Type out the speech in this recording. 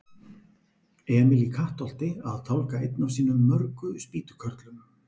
Emil í Kattholti að tálga einn af sínum mörgu spýtukörlum.